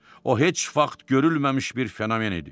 O heç vaxt görünməmiş bir fenomen idi.